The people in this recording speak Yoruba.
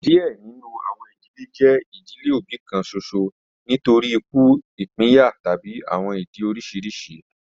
Diẹ ninu awọn idile jẹ idile obi kan ṣoṣo nitori iku, ipinya tabi awọn idi oriṣiriṣi